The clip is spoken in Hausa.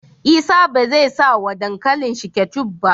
Isa bezai sa wa dankalin shi ketchup ba